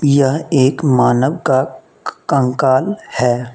यह एक मानव का कंकाल है।